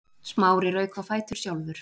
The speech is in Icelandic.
Smári rauk á fætur sjálfur.